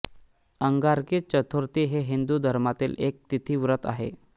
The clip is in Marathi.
अंगारकी चतुर्थी हे हिंदू धर्मातील एक तिथी व्रत आहे